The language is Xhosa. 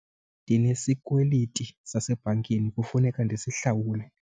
Ndinesikweliti sasebhankini kufuneka ndisihlawule.